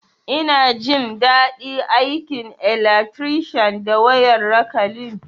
Ina jin dadi aikin alatrishan da wayar rakalin